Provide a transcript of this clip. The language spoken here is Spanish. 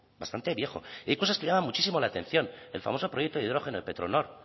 bastante viejo y hay cosas que llaman muchísimo la atención el famoso proyecto de hidrógeno de petronor